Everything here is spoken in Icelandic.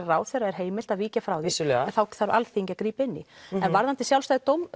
ráðherra er heimilt að víkja frá því en þá þarf Alþingi að grípa inn í en varðandi sjálfstæði